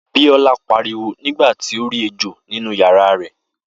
Biola pariwo nígbà tí ó rí ejò nínú yàrá rẹ̀